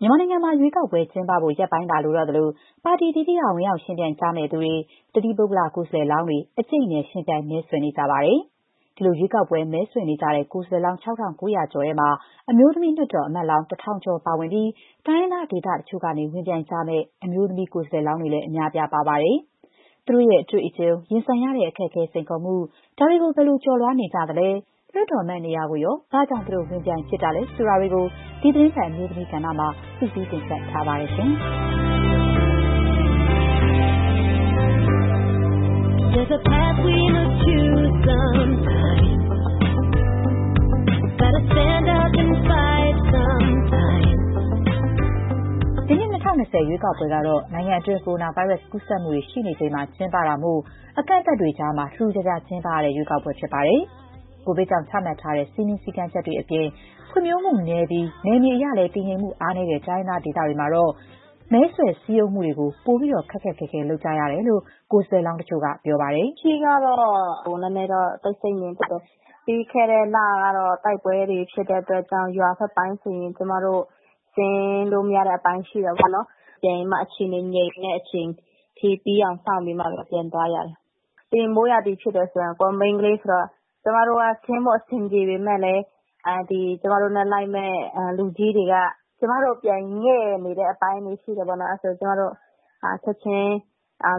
မြန်မာနိုင်ငံမှာ ရွေးကောက်ပွဲ ကျင်းပဖို့ရက်ပိုင်းသာ လိုတော့သလို၊ ပါတီအသီးသီးက ဝင်ရောက်ယှဉ်ပြိုင်ကြသူတွေ၊ တသီးပုဂ္ဂလ ကိုယ်စားလှယ်လောင်းတွေ အကျိတ်အနယ် ယှဉ်ပြိုင် မဲဆွယ်နေကြပါတယ်။ ဒီလို ရွေးကောက်ပွဲ မဲဆွယ်နေကြတဲ့ ကိုယ်စားလှယ်လောင်း ၆,၉ ၀၀ ကျော်ထဲမှာ အမျိုးသမီးလွှတ်တော်အမတ်လောင်း ၁,၀၀၀ ကျော် ပါဝင်ပြီး တိုင်းရင်းသား ဒေသတချို့ကနေ ဝင်ပြိုင်ကြမယ့် အမျိုးသမီး ကိုယ်စားလှယ်လောင်းတွေလည်း အများအပြား ပါ ပါတယ်။ သူတို့ရဲ့ အတွေ့အကြုံ၊ ရင်ဆိုင်ရတဲ့ အခက်အခဲ စိန်ခေါ်မှု၊ ဒါတွေကို ဘယ်လိုကျော်လွှားနေကြလဲ။ လွှတ်တော်အမတ်နေရာကိုရော ဘာကြောင့် သူတို့ ဝင်ပြိုင်ဖြစ်တာလဲ ဆိုတာတွေကို ဒီသီတင်းပတ် အမျိုးသမီးကဏ္ဍမှာ မခင်ဖြူထွေးက စုစည်းတင်ဆက်ထားပါတယ်။ ဒီနှစ် ၂၀၂၀ ရွေးကောက်ပွဲကတော့ နိုင်ငံအတွင်း ကိုရိုနာဗိုင်းရပ်စ် ကူးစက်မှုတွေ ရှိနေချိန်မှာ ကျင်းပတာမို့ အကန့်အသတ်တွေကြား ထူးထူးခြားခြား ကျင်းပရတဲ့ ရွေးကောက်ပွဲ ဖြစ်ပါတယ်။ ကိုဗစ်ကြောင့်ချမှတ်ထားတဲ့ စည်းမျဉ်းကန့်သတ်ချက်တွေအပြင် ဖွံ့ဖြိုးမှုနည်းပြီး နယ်မြေအရလည်း တည်ငြိမ်မှုအားနည်းတဲ့ တိုင်းရင်းသားဒေသတွေမှာတော့ မဲဆွယ်စည်းရုံးမှုတွေကို ပိုပြီးတော့ ခက်ခက်ခဲခဲ လုပ်ကြရတယ်လို့ ကိုယ်စားလှယ်လောင်း တချို့က ပြောပါတယ်။ “လက်ရှိကတော့ နည်းနည်းတော့ တိတ်ဆိတ်ငြိမ်သက်တယ်။ ပြီးခဲ့တဲ့လကတော့ တိုက်ပွဲတွေဖြစ်တဲ့ အတွက်ကြောင့် ရွာဘက်တွေကို ဆင်းလို့မရတဲ့အပိုင်း ရှိတယ်ပေါ့နော်။ ပြန်ပြီးတော့မှ အခြေအနေ ငြိမ်တဲ့အချိန်အထိ ပြီးအောင်စောင့်ပြီးမှပဲ ပြန်သွားရတယ်။ ပြီးရင် မိုးရာသီဖြစ်တဲ့အချိန်မှာလည်း ကိုယ်က မိန်းခလေး ဆိုတော့ ကျမတို့က ဆင်းဖို့အဆင်ပြေ ပေမဲ့လည်း ကျမတို့နဲ့လိုက်မယ့် လူကြီးတွေက ကျမတို့ကို ပြန်ငဲ့နေတဲ့အပိုင်းတွေ ရှိတယ်ပေါ့နော်။ အဲ့ဒါဆိုရင် ကျမတို့က ချက်ချင်း